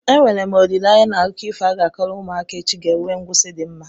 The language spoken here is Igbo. Enwere m olileanya na akụkọ ifo a ga-akọrọ ụmụaka echi ga-enwe ngwụsi di mma?